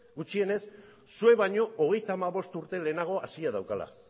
gutxienez zuek baino hogeita hamabost urte lehenago hasia daukala